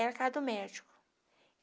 Era a casa do médico.